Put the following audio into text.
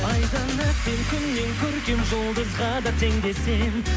айдан әсем күннен көркем жұлдызға да тең де сен